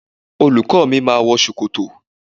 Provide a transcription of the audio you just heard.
Olùkó mi ma wọ ṣòkòtò